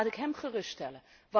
Nou, laat ik hem gerust stellen.